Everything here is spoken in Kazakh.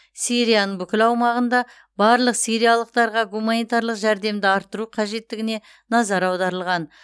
сирияның бүкіл аумағында барлық сириялықтарға гуманитарлық жәрдемді арттыру қажеттігіне назар аударылған